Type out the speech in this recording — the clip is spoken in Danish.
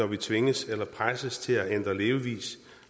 vi tvinges eller presses til at ændre levevis